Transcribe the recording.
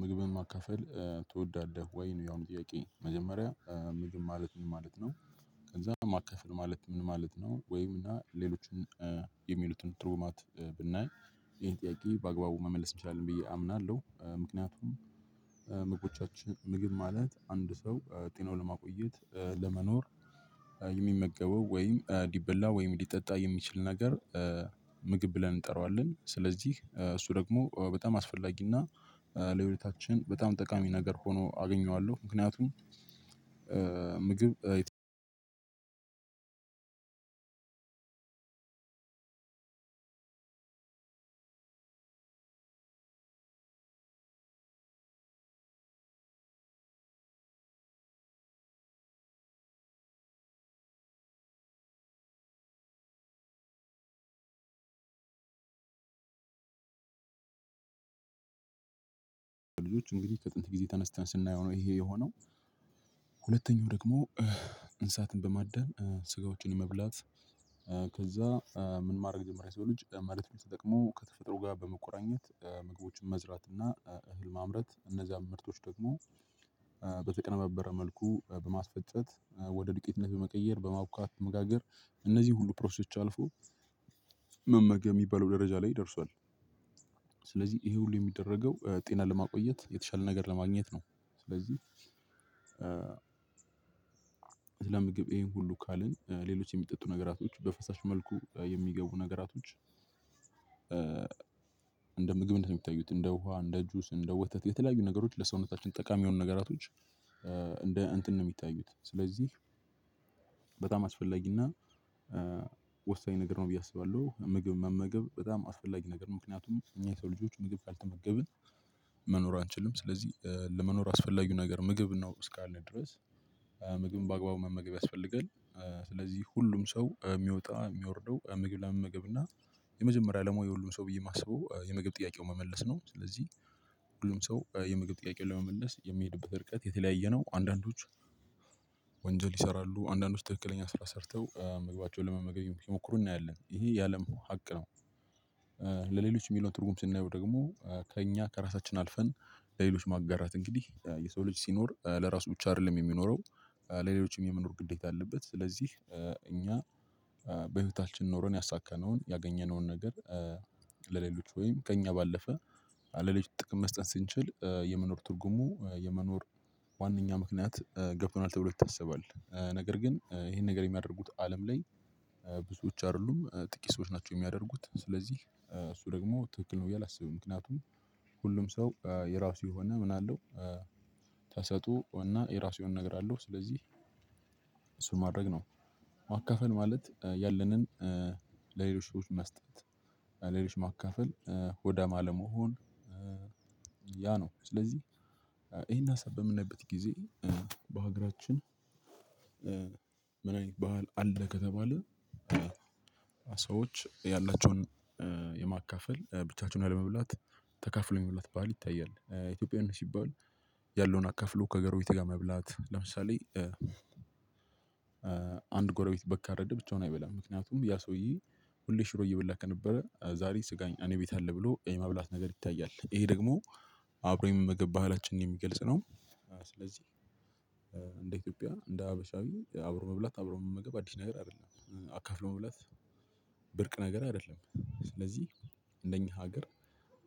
ምግብን ማካፈል ትወዳለህ? ወይ ነው ያሁኑ ጥያቄ መጀመሪያ ምግብ ማለት ምን ማለት ነው? ከዛ ማካፈል ማለት ምን ማለት ነው ወይም እና ሌሎችን የሚሉትን ትርጉማት ብናይ ይሄን ጥያቄ በአግባቡ መመለስ እንችላለን ብዬ አምናለሁ። ምክንያቱም ምግቦቻችን ምግብ ማለት አንድ ሰው ጤናውን ለማቆየት ለመኖር የሚመገበው ወይም እንዲበላ ወይም ሊጠጣ የሚችል ነገር ምግብ ብለን እንጠራዋለን። ስለዚህ እሱ ደግሞ በጣም አስፈላጊና ለሕይወታችን በጣም ጠቃሚ ነገር ሆኖ አገኘዋለሁ። ምክንያቱም ምግብ አንድ አንድ ልጆች እንግዲህ ከጥንት ጊዜ ተነስተን ስናየው ነው ይሄ የሆነው። ሁለተኛው ደግሞ እንሳትን በማደን ስጋዎችን የመብላት። ከዛ ምን ማድረግ ጀመረ የሰው ልጅ መሬትን ተጠቅሞ ከተፈጥሮ ጋር በመቆራኘት ምግቦችን መዝራት እና እህል ማምረት እነዛን ምርቶች ደግሞ በተቀነባበረ መልኩ በማስፈጨት ወደ ዱቄትነት በመቀየር በማቡካት መጋገር። እነዚህ ሁሉ ፕሮሰሶች አልፎ መመገብ የሚባለው ደረጃ ላይ ደርሷል። ስለዚህ ይሄ ሁሉ የሚደረገው ጤና ለማቆየት የተሻለ ነገር ለማግኘት ነው። ስለዚህ ስለ ምግብ ይሄን ሁሉ ካልን ሌሎች የሚጠጡ ነገራቶች በፈሳሽ መልኩ የሚገቡ ነገራቶች። እንደ ምግብ እንደሚታዩት እንደ ውሃ እንደ እጁ እንደ ወተት የተለያዩ ነገሮች ለሰውነታችን ጠቃሚ የሆኑ ነገራቶች እንደ እንትን ነው የሚታዩት። ስለዚህ በጣም አስፈላጊና ወሳኝ ነገር ነው ብዬ አስባለሁ። ምግብ መመገብ በጣም አስፈላጊ ነገር ምክንያቱም እኛ የሰው ልጆች ምግብ ካልተመገብን መኖር አንችልም። ስለዚህ ለመኖር አስፈላጊው ነገር ምግብ ነው እስካለ ድረስ ምግብን በአግባቡ መመገብ ያስፈልጋል። ስለዚህ ሁሉም ሰው የሚወጣ የሚወርደው ምግብ ለመመገብ እና የመጀመሪያ ለሙያ የሁሉን ሰው ብዬ የማስበው የምግብ ጥያቄው መመለስ ነው። ስለዚህ ሁሉም ሰው የምግብ ጥያቄውን መመለስ የሚሄድበት ርቀት የተለያየ ነው። አንዳንዶች ወንጀል ይሰራሉ አንዳንዶች ትክክለኛ ስራ ሰርተው ምግባቸውን ለመመገብ ሲሞክሩ እናያለን ይሄ የአለም ሀቅ ነው። ለሌሎች የሚለውን ትርጉም ስናየው ደግሞ ከእኛ ከራሳችን አልፈን ለሌሎች ማጋራት እንግዲህ የሰው ልጅ ሲኖር ለራሱ ብቻ አይደለም የሚኖረው ለሌሎችም የመኖር ግዴታ አለበት። ስለዚህ እኛ በህይወታችን ኖሮን ያሳካነውን ያገኘነውን ነገር ለሌሎች ወይም ከእኛ ባለፈ ለሌሎች ጥቅም መስጠት ስንችል የመኖር ትርጉሙ የመኖር ዋናኛ ምክንያት ገብቶናል ተብሎ ይታሰባል። ነገር ግን ይሄን ነገር የሚያደርጉት አለም ላይ ብዙዎች አይደሉም ጥቂት ሰዎች ናቸው የሚያደርጉት ስለዚህ እሱ ደግሞ ትክክል ነው ብዬ አላስብም። ምክንያቱም ሁሉም ሰው የራሱ የሆነ ምን አለው? ተሰጥኦ እና የራሱ የሆነ ነገር አለው። ስለዚህ እሱን ማድረግ ነው። አካፈል ማለት ያለንን ለሌሎች መስጠት። ሌሎች ማካፈል ሆዳም አለመሆን ያ ነው። ስለዚህ ይሄን ሀሳብ በምናይበት ጊዜ በሀገራችን ምን አይነት ባህል አለ ከተባለ ሰዎች ያላቸውን የማካፈል ብቻቸውን ያለመብላት ተካፍሎ የመብላት ባህል ይታያል። ኢትዮጵያን ሲባል ያለውን አካፍሎ ከጎረቤት ጋር መብላት ለምሳሌ አንድ ጎረቤት በግ ካረደ ብቻውን አይበላም። ምክንያቱም ያ ሰውዬ ሁሌ ሽሮ እየበላ ነበረ ዛሬ ስጋኝ አኔ ቤት አለ ብሎ የማብላት ነገር ይታያል። ይሄ ደግሞ አብሮኝ መገባት አላችንን የሚገልጽ ነው። ስለዚህ እንደ ኢትዮጵያ እንደ ሀበሻዊ አብሮ መብላት አብሮ መመገብ አዲስ ነገር አይደለም። አካፍሎ መብላት ብርቅ ነገር አይደለም። ስለዚህ እንደኛ ሀገር